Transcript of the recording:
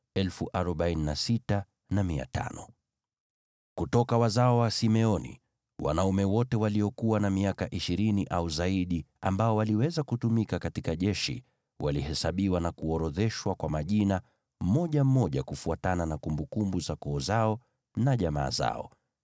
Kutoka wazao wa Simeoni: Wanaume wote waliokuwa na miaka ishirini au zaidi ambao waliweza kutumika katika jeshi walihesabiwa na kuorodheshwa kwa majina, mmoja mmoja, kufuatana na kumbukumbu za koo zao na jamaa zao.